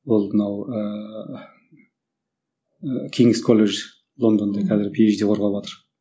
ол мынау ыыы кейнес колледжі лондонда қазір пи ейч ди қорғаватыр